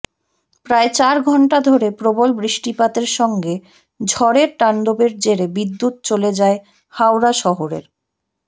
প্রায় চার ঘণ্টা ধরে প্রবল বৃষ্টিপাতের সঙ্গে ঝড়ের তাণ্ডবের জেরে বিদ্যুৎ চলে যায় হাওড়া শহরের